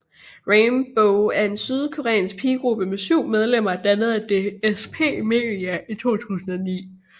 Rainbow er en sydkoreansk pigegruppe med 7 medlemmer dannet af DSP Media i 2009